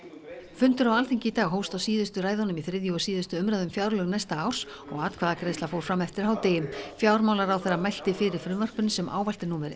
fundur á Alþingi í dag hófst á síðustu ræðunum í þriðju og síðustu umræðu um fjárlög næsta árs og atkvæðagreiðsla fór fram eftir hádegi fjármálaráðherra mælti fyrir frumvarpinu sem ávallt er númer